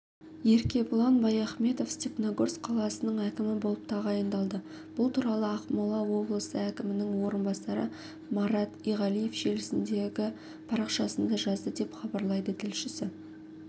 еркебұлан баяхметовстепногорск қаласының әкімі болып тағайындалды бұл туралы ақмола облысы әкімінің орынбасары марат иғалиев желісіндегі парақшасында жазды деп хабарлайды тілшісі